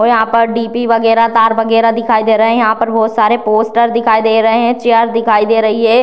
और यहाँ पर डी.पी. वगैरह तार वगैरह दिखाई दे रहे हैं यहाँ पे बहोत सारे पोस्टर दिखाई दे रहे हैं चेयर दिखाई दे रही है।